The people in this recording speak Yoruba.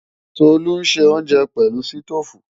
Tolú ń ṣe oúnjẹ pẹ̀lú sítóòfù